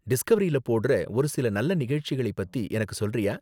டிஸ்கவரியில போடுற ஒரு சில நல்ல நிகழ்ச்சிகளை பத்தி எனக்கு சொல்றியா?